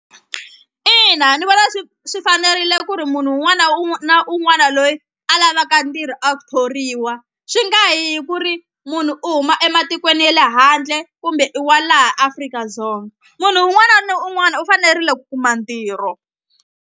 Ina ni vona swi swi fanerile ku ri munhu wun'wana na un'wana loyi a lavaka ntirho a thoriwa swi nga hi ku ri munhu u huma ematikweni ye le handle kumbe i wa laha Afrika-Dzonga munhu un'wana ni un'wana u fanerile ku kuma ntirho.